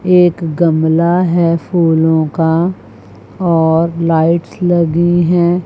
एक गमला है फूलों का और लाइट्स लगी हैं।